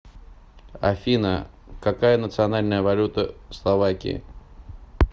афина какая национальная валюта словакии